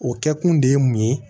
O kɛkun de ye mun ye